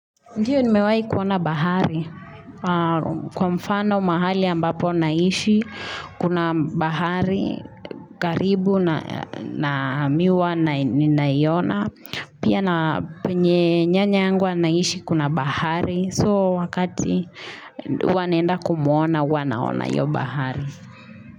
Ndiyo nimewai kuona bahari. Kwa mfano mahali ambapo naishi, kuna bahari, karibu na mihuwa na iona. Pia na penye nyanya yangu anaishi kuna bahari. So wakati huwa naenda kumuona, huwa naona hiyo bahari.